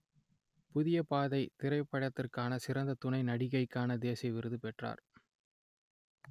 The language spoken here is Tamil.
புதிய பாதை திரைப்படத்திற்காக சிறந்த துணை நடிகைக்கான தேசிய விருது பெற்றார்